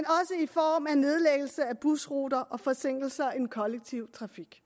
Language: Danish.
busruter og forsinkelser i den kollektive trafik